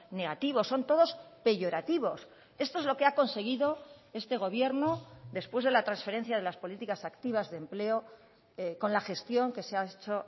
negativos son todos peyorativos esto es lo que ha conseguido este gobierno después de la transferencia de las políticas activas de empleo con la gestión que se ha hecho